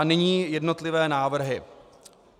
A nyní jednotlivé návrhy.